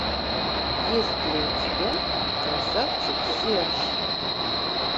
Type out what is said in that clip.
есть ли у тебя красавчик серж